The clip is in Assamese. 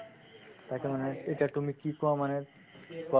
তাকে মানে এতিয়া তুমি কি কোৱা মানে